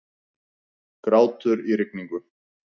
Grátur í rigningu.